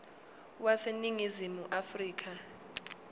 wase ningizimu afrika